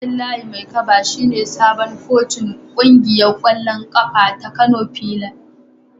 Abdullahi Maikaba shine sabon kocin kungiyar kwallon kafa ta Kano fillars.